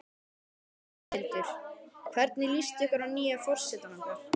Þórhildur: Hvernig líst ykkur að nýja forsetann okkar?